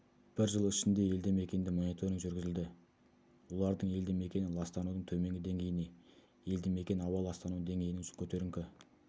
бір жыл ішінде елді-мекенде мониторинг жүргізілді олардың елді-мекені ластанудың төменгі деңгейіне елді-мекен ауа ластану деңгейінің көтеріңкі